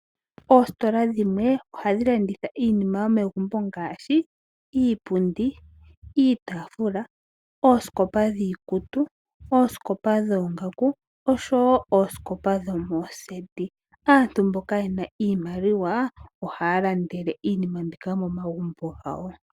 Oositola dhimwe ohadhi landitha iinima yomegumbo ngaashi iipundi, iitafula, oosikopa dhiikutu, oosikopa dhoongaku osho wo oosikopa dhomoondunda dhokuuhala. Aantu mboka yena iimaliwa ohaya landele iinima mbika momagumbo gawo.